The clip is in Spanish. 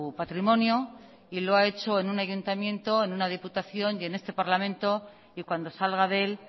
patrimonio y lo ha hecho en un ayuntamiento en una diputación y en este parlamento y cuando salga de él